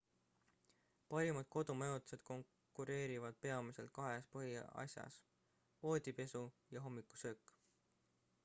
parimad kodumajutused konkureerivad peamiselt kahes põhiasjas voodipesu ja hommikusöök